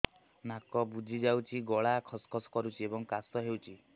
ନାକ ବୁଜି ଯାଉଛି ଗଳା ଖସ ଖସ କରୁଛି ଏବଂ କାଶ ହେଉଛି